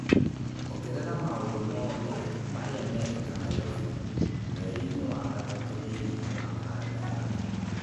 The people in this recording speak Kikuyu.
ongerera maũndũ mothe marĩa mekĩka Nairobi mweri-inĩ wa gatatũ thĩinĩ wa kalendarĩ yakwa